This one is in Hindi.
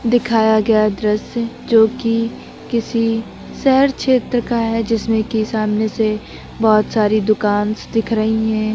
दिखाया गया दृश्य जो कि किसी शहर क्षेत्र का है जिसमें कि सामने से बहुत सारी दुकानस दिख रही हैं।